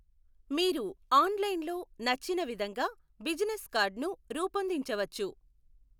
మీరు ఆన్లైన్లో నచ్చినవిధంగా బిజినెస్ కార్డును రూపొందించవచ్చు.